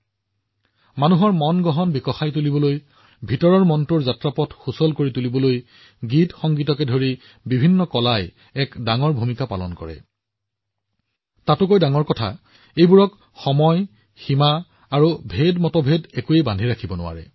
মানৱ মনৰ আভ্যন্তৰীণ আত্মা বিকশিত কৰাত লগতে আমাৰ আভ্যন্তৰীণ যাত্ৰাৰ পথ তৈয়াৰ কৰাত গান আৰু সংগীত আৰু বিভিন্ন কলাই এক ডাঙৰ ভূমিকা পালন কৰে আৰু ইয়াৰ এটা ডাঙৰ শক্তি হৈছে যে ইয়াক সময় সীমা বা মতভেদ বান্ধি ৰাখিব নোৱাৰে